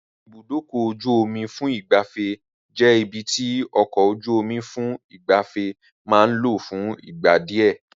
Ibùdókọ̀-ojú-omi fún ìgbafẹ́ jẹ́ ibi tí ọkọ̀-ojú-omí fún ìgbafẹ́ máa ń lọ fún ìgbà díẹ̀.